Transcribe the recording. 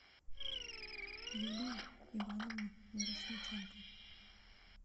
юлию ивановну мирошниченко